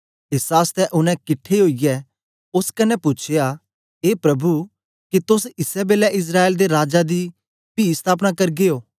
एस आसतै उनै किट्ठे ओईयै ओस कन्ने पूछ्या ए प्रभु के तोस इसै बेलै इस्राएल दे राज दी पी सतापना करगे ओ